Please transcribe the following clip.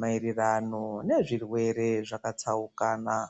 mairirano nezvirwere zvakatsaukana.